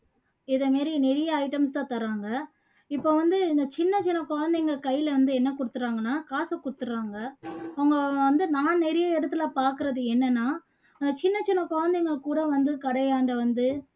இது மாதிரி நிறைய items ஆ தர்றாங்க இப்போ வந்து இந்த சின்ன சின்ன குழந்தைங்க கையில வந்து என்ன கொடுத்துடுறாங்கன்னா காச கொடுத்துடுறாங்க அவங்க வந்து நான் நிறைய இடத்துல பாக்குறது என்னன்னா சின்ன சின்ன குழந்தைங்க கூட வந்து கடையாண்ட வந்து